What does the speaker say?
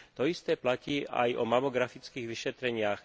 To isté platí aj o mamografických vyšetreniach.